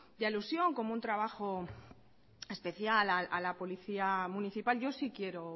de alusión como un trabajo especial a la policía municipal yo sí quiero